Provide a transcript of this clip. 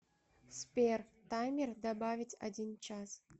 сбер таймер добавить один час